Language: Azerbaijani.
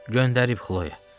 "Göndərib, Xloya.